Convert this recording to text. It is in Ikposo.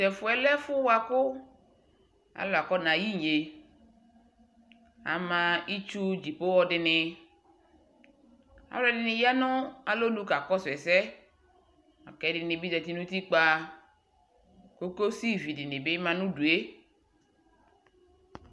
Tʊ ɛfʊ yɛ lɛ ɛfʊ yɛ bʊakʊ alʊ afɔnayɛ inye, amă itsu viava dɩnɩ, alʊɛdɩnɩ ya nʊ alonʊ kakɔsu ɛsɛ kʊ ɛdɩnɩ bɩ zati nʊ utikpǝ, koksi dɩ bɩ dʊ udu yɛ